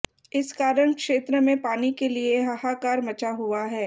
इस कारण क्षेत्र में पानी के लिए हाहाकार मचा हुआ है